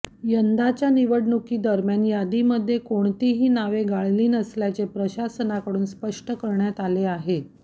यंदाच्या निवडणुकीदरम्यान यादीमध्ये कोणतीही नावे गाळली नसल्याचे प्रशासनाकडून स्पष्ट करण्यात आले आहे